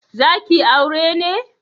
Zaki aure ne?